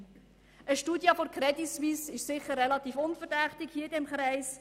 Eine Studie der Credit Suisse ist sicher relativ unverdächtig in diesem Kreis.